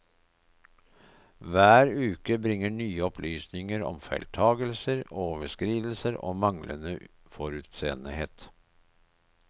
Hver uke bringer nye opplysninger om feiltagelser, overskridelser og manglende forutseenhet.